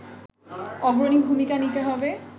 অগ্রণী ভূমিকা নিতে হবে